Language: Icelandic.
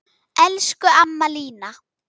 Elsku amma Lína.